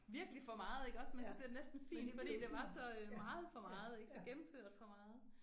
Virkelig for meget iggås men så blev det næsten fint fordi det var så meget for meget ik så gennemført for meget